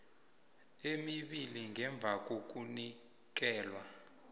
emibili ngemva kokunikelwa